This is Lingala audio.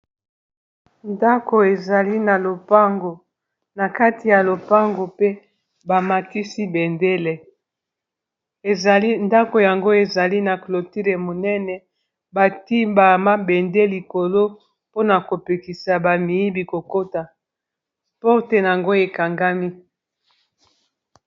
ndako ezali na lopango na kati ya lopango pe bamakisi bendele ezali ndako yango ezali na clotule monene bati ba mabende likolo mpona kopekisa bamiyibi kokota porte yango ekangami